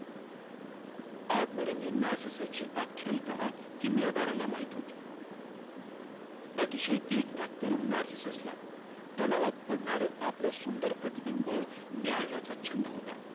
आत्मरंगी नार्सिससची आख्यायीका किमयागाराला माहित होती. अतिशय देखण्या, तरुण नार्सिससला तलावात पडणारं आपलं सुंदर प्रतिबिंब न्याहाळण्याचा छंद होता.